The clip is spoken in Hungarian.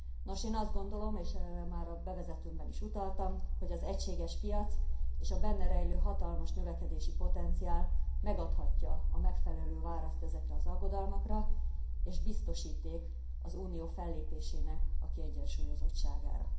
Nos, én azt gondolom, és erre már a bevezetőmben is utaltam, hogy az egységes piac és a benne rejlő hatalmas növekedési potenciál megadhatja a megfelelő választ ezekre az aggodalmakra, és biztosíték az Unió fellépésének a kiegyensúlyozottságára.